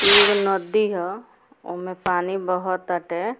एगो नदी ह ओमें पानी बहोत अटे।